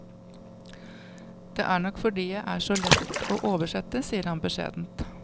Det er nok fordi jeg er så lett å oversette, sier han beskjedent.